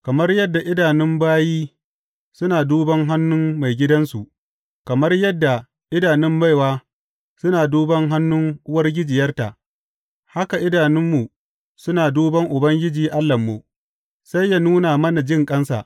Kamar yadda idanun bayi suna duban hannun maigidansu, kamar yadda idanun baiwa suna duban hannun uwargijiyarta, haka idanunmu suna duban Ubangiji Allahnmu, sai ya nuna mana jinƙansa.